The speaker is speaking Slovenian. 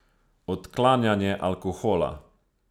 Odklanjanje alkohola.